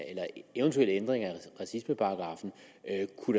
eventuelle ændringer af racismeparagraffen